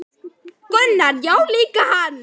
Gunnar: Já líka hann